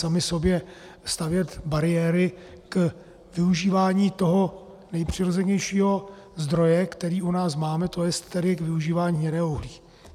Sami sobě stavět bariéry k využívání toho nejpřirozenějšího zdroje, který u nás máme, to jest tedy k využívání hnědého uhlí.